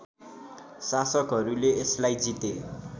शासकहरूले यसलाई जिते